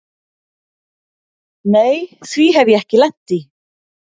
Nei því hef ég ekki lent í.